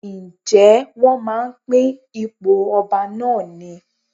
Ǹjẹ́ wón máa ń pín ipò ọba náà ni?